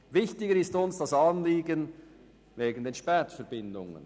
Wichtiger ist uns das Anliegen betreffend die Spätverbindungen.